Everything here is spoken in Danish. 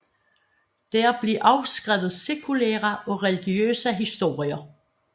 Der blev også skrevet sekulære og religiøse historier